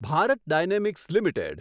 Bharat dynamics limited